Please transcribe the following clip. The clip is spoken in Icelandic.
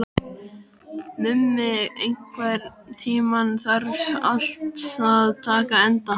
Mummi, einhvern tímann þarf allt að taka enda.